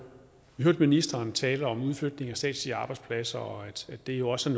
vi hørte ministeren tale om udflytning af statslige arbejdspladser og at det også